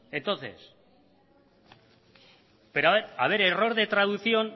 entonces pero haber error de traducción